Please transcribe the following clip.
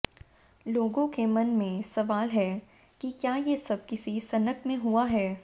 लोगों के मन में सवाल है कि क्या ये सब किसी सनक में हुआ है